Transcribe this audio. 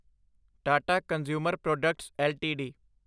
Tata consumer products LTD